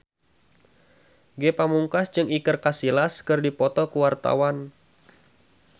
Ge Pamungkas jeung Iker Casillas keur dipoto ku wartawan